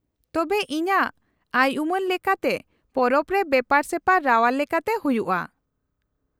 -ᱛᱚᱵᱮ ᱤᱧᱟᱹᱜ ᱟᱭᱼᱩᱢᱟᱹᱱ ᱞᱮᱠᱟᱛᱮ ᱯᱚᱨᱚᱵᱽ ᱨᱮ ᱵᱮᱯᱟᱨ ᱥᱮᱯᱟᱨ ᱨᱟᱣᱟᱞ ᱞᱮᱠᱟᱛᱮ ᱦᱩᱭᱩᱜᱼᱟ ᱾